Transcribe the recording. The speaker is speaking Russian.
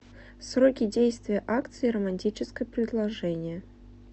сроки действия акции романтическое предложение